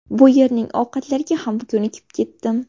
Bu yerning ovqatlariga ham ko‘nikib ketdim.